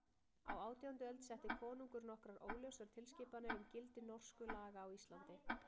Á átjándu öld setti konungur nokkrar óljósar tilskipanir um gildi Norsku laga á Íslandi.